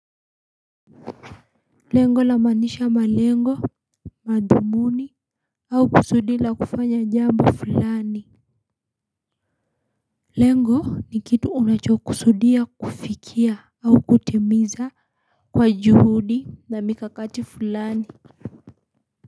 Lengo la manisha malengo madhumuni au kusudi la kufanya jambo fulani lengo ni kitu unachokusudia kufikia au kutimiza kwa juhudi na mikakati fulani.